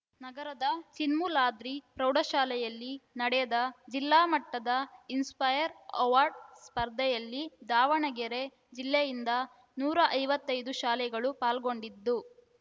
ನಗರದ ಚಿನ್ಮೂಲಾದ್ರಿ ಪ್ರೌಢಶಾಲೆಯಲ್ಲಿ ನಡೆದ ಜಿಲ್ಲಾಮಟ್ಟದ ಇನ್‌ಸ್ಪೈರ್‌ ಅವಾರ್ಡ್‌ ಸ್ಪರ್ಧೆಯಲ್ಲಿ ದಾವಣಗೆರೆ ಜಿಲ್ಲೆಯಿಂದ ನೂರ ಐವತ್ತೈದು ಶಾಲೆಗಳು ಪಾಲ್ಗೊಂಡಿದ್ದು